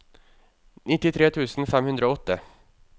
nittitre tusen fem hundre og åtte